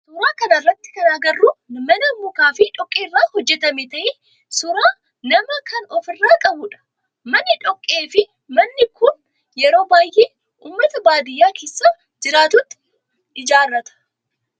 Suuraa kana irratti kan agarru mana mukaa fi dhoqqee irraa hojjetame ta'ee suuraa namaa kan of irraa qabudha. Manni dhoqqee fi mukaa kun yeroo baayyee ummata baadiyaa keessa jiraatutu ijaarrata.